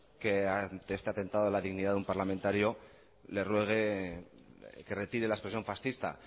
que ante este atentado a la dignidad de un parlamentario le ruegue que retire la expresión fascista